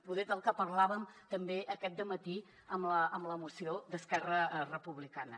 poder del que parlàvem també aquest dematí amb la moció d’esquerra republicana